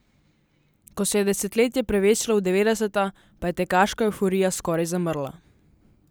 Ko se je desetletje prevesilo v devetdeseta, pa je tekaška evforija skoraj zamrla.